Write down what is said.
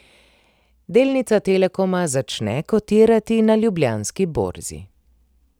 Delnica Telekoma začne kotirati na Ljubljanski borzi.